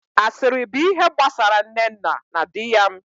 Asịrị bụ ihe gbasara Nnenna na dị yam